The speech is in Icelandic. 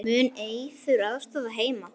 Mun Eiður aðstoða Heimi?